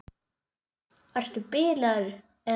Ertu bilaður eða hvað?